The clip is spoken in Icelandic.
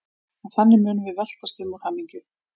Og þannig munum við veltast um úr hamingju.